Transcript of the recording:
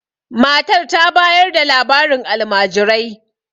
matar ta bayar da labarin alamajirai